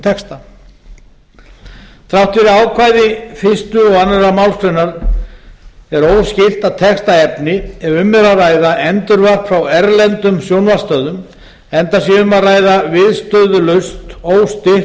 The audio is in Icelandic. texta þrátt fyrir ákvæði fyrstu og annarri málsgrein er óskylt að texta efni ef um er að ræða endurvarp frá erlendum sjónvarpsstöðvum enda sé um að ræða viðstöðulaust óstytt